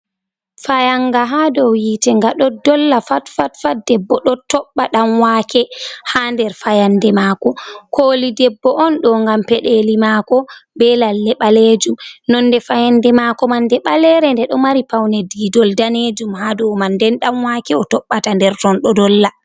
Fayannga haa dow yiite, nga ɗo dolla fatfatfat, debbo ɗo toɓɓa ɗanwaake haa nder fayannde maako, kooli debbo on ɗo, ngam peɗeeli maako be lalle ɓaleejum, nonnde fayannde maako man nde ɓalere ngam nde ɗo mari pawne diidol daneejum haa dow man , nden ɗanwaake o toɓɓata nder ton ɗo dolla.